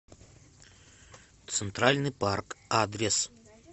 центральный парк адрес